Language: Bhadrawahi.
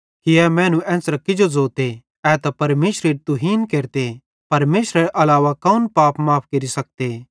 ए मैनू एन्च़रां किजो ज़ोते ए त परमेशरेरी तुहीन केरते परमेशरेरे अलावा कौन पाप माफ़ केरि सकते